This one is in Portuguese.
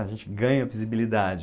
A gente ganha visibilidade.